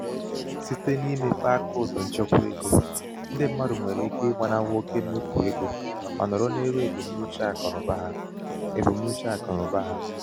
site n'imepe akaụtụ nchekwa ego ndị mmadụ nwere ike ịgbanahụ oke mmefu ego ma nọrọ n'elu ebumnuche akụnaụba ha. ebumnuche akụnaụba ha.